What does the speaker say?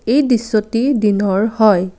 এই দৃশ্যটি দিনৰ হয়।